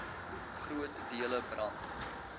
groot dele brand